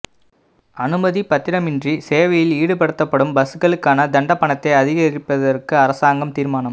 அனுமதிப்பத்திரமின்றி சேவையில் ஈடுபடுத்தப்படும் பஸ்களுக்கான தண்டப் பணத்தை அதிகரிப்பதற்கு அரசாங்கம் தீர்மானம்